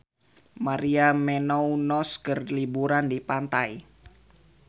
Maria Menounos keur liburan di pantai